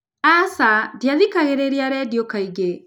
Aca, ndiathikagĩrĩria redio kaingĩ.